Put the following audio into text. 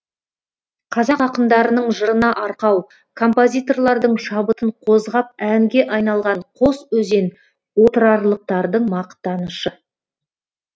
қазақ ақындарының жырына арқау композиторлардың шабытын қозғап әнге айналған қос өзен отырарлықтардың мақтанышы